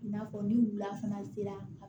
I n'a fɔ ni wula fana sera